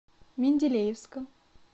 менделеевском